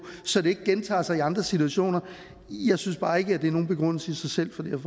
så det ikke gentager sig i andre situationer jeg synes bare ikke at det er nogen begrundelse i sig selv